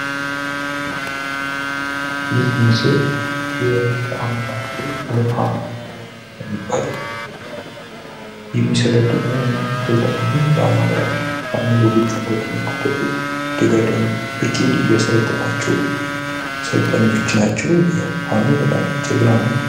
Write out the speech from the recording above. ይህ ምስል በአማራ ክልል ፋኖ የሚባል የሚሰለጠኑት ስልጠና ነው። በጎጃም ከፍተኛ ክፍለ ጦር ደጋዳሞት የሚባል ብርጌድ ክፍለ ጦር ሰልጣኞች እየሰለጠኑ ነው። ያው ፋኖ በጣም ጀግና ነው።